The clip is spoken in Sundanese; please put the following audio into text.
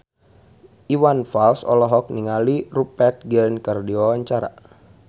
Iwan Fals olohok ningali Rupert Grin keur diwawancara